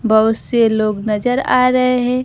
बहुत से लोग नजर आ रहे है।